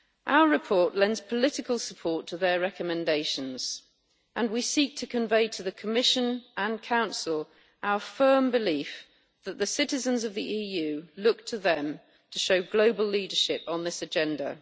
Our report lends political support to their recommendations and we seek to convey to the Commission and Council our firm belief that the citizens of the EU look to them to show global leadership on this agenda.